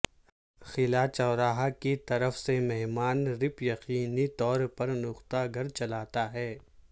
خلا چرواہا کی طرف سے مہمان رپ یقینی طور پر نقطہ گھر چلاتا ہے